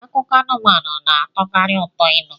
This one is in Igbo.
Akụkọ anụmanụ na-atọkarị ụtọ ịnụ